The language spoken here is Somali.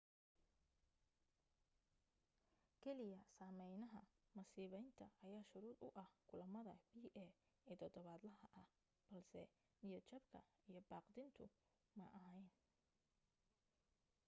keliya saameynaha masibaynta ayaa shuruud u ahaa kulamada pa ee todobaadlaha ah balse niyadjabka iyo baqdintu ma ahayn